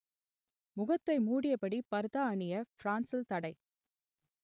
முகத்தை மூடியபடி பர்தா அணிய பிரான்சில் தடை